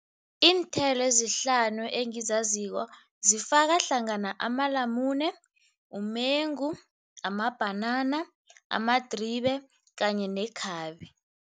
Iinthelo ezihlanu engizaziko zifaka hlangana amalamune, umengu, amabhanana, amadribe kanye nekhabe.